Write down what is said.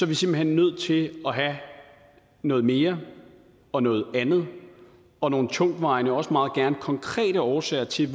vi simpelt hen nødt til at have noget mere og noget andet og nogle tungtvejende også meget gerne konkrete årsager til